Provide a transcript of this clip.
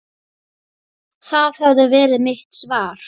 Það hefði verið mitt svar.